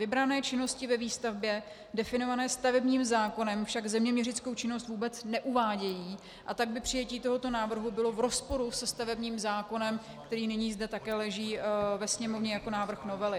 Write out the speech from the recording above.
Vybrané činnosti ve výstavbě definované stavebním zákonem však zeměměřickou činnost vůbec neuvádějí, a tak by přijetí tohoto návrhu bylo v rozporu se stavebním zákonem, který nyní zde také leží ve Sněmovně jako návrh novely.